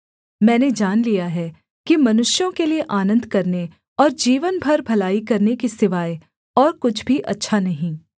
मैंने जान लिया है कि मनुष्यों के लिये आनन्द करने और जीवन भर भलाई करने के सिवाय और कुछ भी अच्छा नहीं